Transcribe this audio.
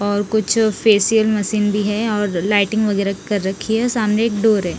और कुछ facial machine भी है और लाइटिंग वगैरा कर रखी है सामने एक डोर है।